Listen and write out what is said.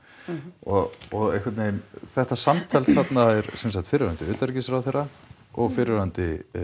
og og einhvern veginn þetta samtal þarna er sem sagt fyrrverandi utanríkisráðherra og fyrrverandi